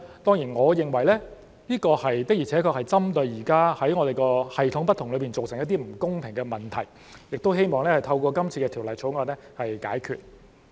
當然，我認為這的確是針對現時系統不同造成的一些不公平的問題，希望透過《條例草案》解決。